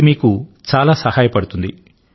ఇది మీకు చాలా సహాయపడుతుంది